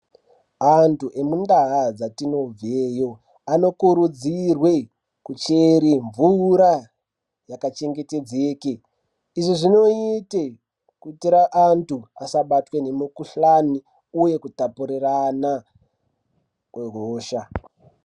Antu emuntaa dzatinobveyo anokurudzirwe, kuchere mvura yakachengetedzeke. Izvi zvinoite kuitira antu asabatwe ngemikhuhlani uye kutapurirana kwehosha.